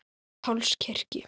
Páls kirkju.